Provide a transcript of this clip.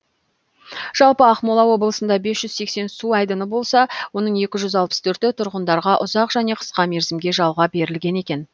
жалпы ақмола облысында бес жүз сексен су айдыны болса оның екі жүз алпыс бірі тұрғындарға ұзақ және қысқа мерзімге жалға берілген екен